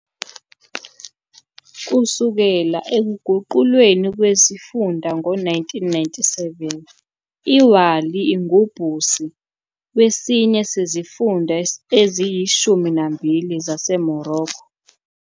Kusukela ekuguqulweni kwesifunda ngo-1997, "iWāli ingumbusi" wesinye sezifunda eziyishumi nambili zaseMorocco.